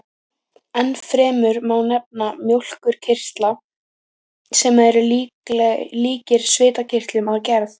Ennfremur má nefna mjólkurkirtla, sem eru líkir svitakirtlum að gerð.